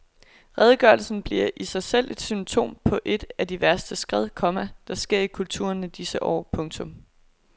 Redegørelsen bliver i sig selv et symptom på et af de værste skred, komma der sker i kulturen i disse år. punktum